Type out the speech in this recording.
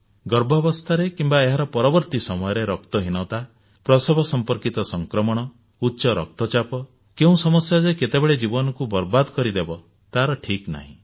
ଗର୍ଭାବସ୍ଥାରେ କିମ୍ବା ଏହାର ପରବର୍ତ୍ତି ସମୟରେ ରକ୍ତହୀନତା ପ୍ରସବ ସମ୍ପର୍କିତ ସଂକ୍ରମଣ ଉଚ୍ଚ ରକ୍ତଚାପ କେଉଁ ସମସ୍ୟା ଯେ କେତେବେଳେ ଜୀବନକୁ ବରବାଦ କରିଦେବ ତାହା ଠିକନାହିଁ